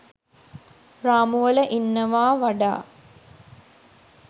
රාමුවල ඉන්නවා වඩා